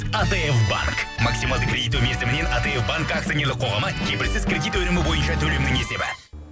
атф банк максималды кредиттеу мерзімінен атф банк акционерлік қоғамы кепілсіз кредит өнімі бойынша төлемнің есебі